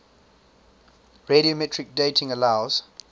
radiometric dating allows